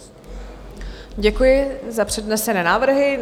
Děkuji za přednesené návrhy.